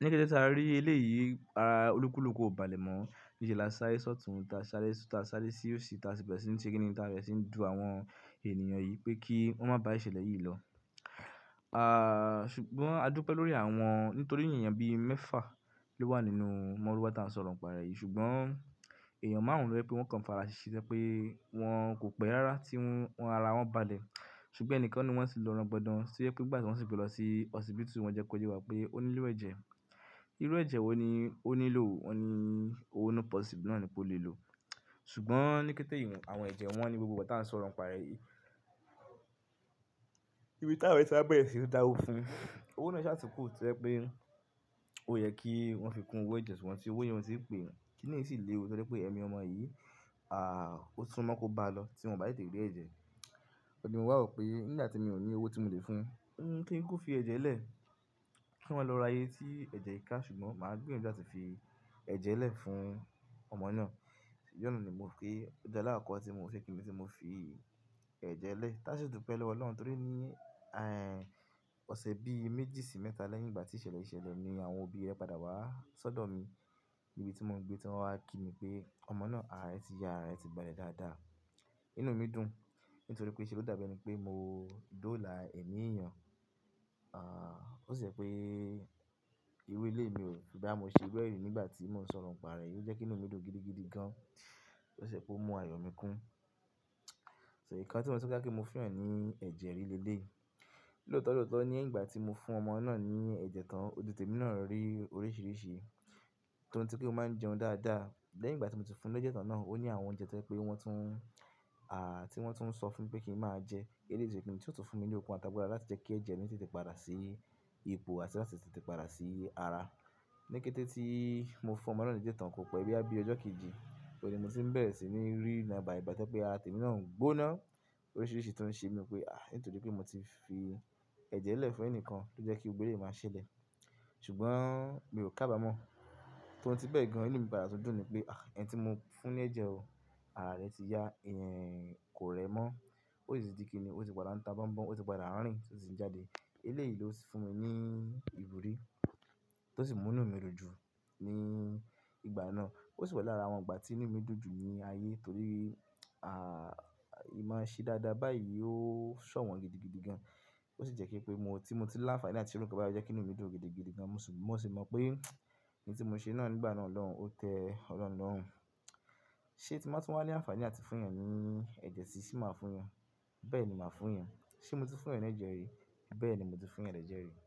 Ní kété tí a rí eléyìí ara olúkúlùkù ò bá lẹ̀ mọ̀, ni ṣe láṣa eré sọ̀tún tá ṣáré, tá ṣáré sí òsì tá síbẹ̀ sì ń ṣe kínní tá bẹ̀rẹ̀ sí ń dùn àwọn ènìyàn yìí pé kí wọ́n má bá ìṣẹ̀lẹ̀ yìí lọ. Ṣùgbọ́n a dúpẹ́ lórí àwọn nítorí èèyàn bí i mẹ́fà ló wà nínú mọ́rúwà tí a ń sọ ọ̀rọ̀ ǹ pa rẹ̀ yìí. Ṣùgbọ́n èèyàn márùn-ún ló jẹ pé wọ́n kàn fára ṣíṣe tó jẹ́ pé kò pẹ́ rárá tí ara wọn bàlẹ̀ ṣùgbọ́n ènìkan nínú wọ́n tì lọ rangbọdàn. Tó jẹ́ pé ní gbà tí wọ́n sì gbé lọ sí ọsípítù wọ́n jẹ́kọ yé wá pé ó nílò ẹ̀jẹ̀. Irú ẹ̀jẹ̀ wo ni ó nílò? Wọ́n ní o positifu náà ni ó lè lò. Ṣùgbọ́n ní kété ìwọ̀n àwọn ẹ̀jẹ̀ wọ́n ní gbogbo ìgbà tí a ń sọ ọ̀rọ̀ ǹ pa rẹ̀ yìí. Ibi táwọn èèyàn sa bẹ́rẹ́ sì ń dáwọ́ fún. Owó náà ṣa túnku tó jẹ́ pé, ó yẹ kí wọ́n fi kún owó ẹ̀jẹ̀ tí wọn sì owó yẹn ò tí i pè. Kí ni yì sì léwu torí pé ẹ̀mí ọmọ yìí, ó sunmọ̀ kó bá a lọ tí wọn kò bá tètè rí ẹ̀jẹ̀. Ọ̀hún ni mo wà wò pé nígbà tí èmi ò ní owó tí mò lè fún un, kí n kú fi ẹ̀jẹ̀ lẹ̀, kí wọn lọ ra ye tí ẹ̀jẹ̀ ká ṣùgbọ́n màá gbìyànjú láti fi ẹ̀jẹ̀ lẹ́ fún ọmọ náà. Ọjọ́ náà ni mo fi, ẹjẹ́ alakokọ́ tí mo ni mo fi ẹ̀jẹ̀ lẹ́ẹ̀. Ká sì dúpẹ́ lọ́wọ́ Ọlọ́run torí ọ̀sẹ̀ bí i méjì sí mẹ́ta lẹ́yìn ìgbà tí ìṣẹ̀lẹ̀ yìí ṣẹlẹ̀ ni àwọn òbí rẹ̀ padà wá sọ́dọ̀ mi níbi tí mò ń gbé tí wọ́n wá kí mi pé ọmọ náà, ara rẹ̀ ti ya, ara rẹ̀ ti bà lé dáadáa. Inú mi dùn nítorí pé ṣe ló dàbí ẹni pé mò dóòlà ẹ̀mí èèyàn. Ó ṣì jẹ́ pé irú eléyí mi ò rò bóyá mo ṣe bẹ́ẹ̀ rí nígbà tí mò ń sọ ọ̀rọ̀ ǹ pa rẹ̀ yìí. Ó jẹ́ kí inú mi dùn gidigidi gan. Ó ṣì jẹ́ kó mú ayọ̀ mi kún. Ẹ̀ẹ̀kan tí mo le ni mo fún èèyàn ní ẹ̀jẹ̀ rí ni eléyí lóòótọ́ lóòótọ́ ní ìgbà tí mo fún ọmọ náà ní ẹ̀jẹ̀ tán, ojú tí èmi náà rí oríṣiríṣi tó ohun tí pé mó máa ń jẹun dáadáa. Lẹ́yìn ìgbà tí mo ti fún un lójẹ tán náà, ó ní àwọn oúnjẹ tó jẹ́ pé wọ́n tún, tí wọ́n tún ń sọ fún mi pé kí n máa jẹ. Ẹ̀ lèyí sì ohun tí ó tún fún mi ní òkun àti àgbàlá láti jẹ́ kí ẹ̀jẹ̀ mi sì tètè padà sí ipò àti láti tètè padà sí ara ní kété tí mo fún ọmọ náà ní ẹ̀jẹ̀ tán kó pẹ́ bí i ọjọ́ kejì, ni mo ti ń bẹ̀rẹ̀ sí ní rí ìran bàìbàì tó jẹ́ pé ara tèmi náà ń gbóná. Oríṣiríṣi tó ń ṣe mi pé, à, nítorí pé mo ti fi ẹ̀jẹ̀ lẹ́ẹ̀ fún ẹnìkan ló jẹ́ kí gbogbo eléyí máa ṣẹlẹ̀. Ṣùgbọ́n mi ò kábamọ́, torí tí bẹ́ẹ̀ gan inú mi padà tún dùn ni pé, à, ẹni tí mo fún ní ẹ̀jẹ̀ o, ara rẹ̀ ti ya, kò rẹ mọ́. Ó sì di kíni, ó ti padà ń ta bọ́n bọ́n, ó tì padà ń rìn tí ó sì ń jáde. Eléyìí ló sì fún mi ní ìwúrí tó sì mú inú mi dùn jù ní ìgbà náà. Ó sì wà lára àwọn ìgbà tí inú mi dùn jù ní ayé torí, à tì máa ṣe dáadáa báyìí ó ṣọ̀wọ́n gidigidi gan. Ó sì jẹ́ kí pé mo tí mò ti lá nfani àti ṣe rú n kan báyì o jẹ́kí inú mi dùn gidigidi gan. Mo sì mọ̀ pé ohun tí mo ṣe náà nígbà náà lọ́hun ó tẹ ọlọ́run lọ́run. Ṣé tí mo bá tún wá ní àǹfààní àti fún ẹeyan ní ẹ̀jẹ̀ sì ṣe máa fún èèyàn? Bẹ́ẹ̀ ni màá fún ẹn. Ṣé mo ti fún ẹeyan ní ẹ̀jẹ̀ rí? Bẹ́ẹ̀ ni mo ti fún ẹeyan ní ẹ̀jẹ̀ rí.